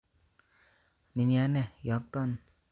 Niniane iyokton